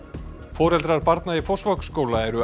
foreldrar barna í Fossvogsskóla eru